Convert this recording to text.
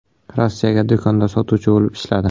Rossiyaga do‘konda sotuvchi bo‘lib ishladi.